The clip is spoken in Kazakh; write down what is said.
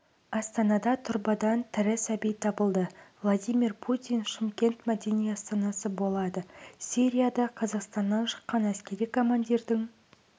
астанада тұрбадан тірі сәби табылды владимир путин шымкент мәдени астанасы болады сирияда қазақстаннан шыққан әскери командирдің